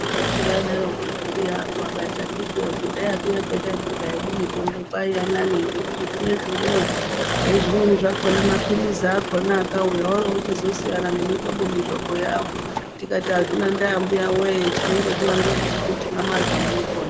Handiti vaidarokoko mbuya vangu akati akiti woye kudhaya kuya kwetaitorya hedu mitombo kwaiya nani ngekuti zvinezvi unowo nezvimweni zvakona, maphirisiwo akona akauya oorochizosiyana nemihlobo-mihlobo yawo. Tikati hazvina ndaa mbuyawee chinondodiwa ngechekuti mamarya munopona.